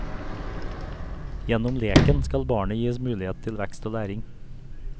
Gjennom leken skal barnet gis mulighet til vekst og læring.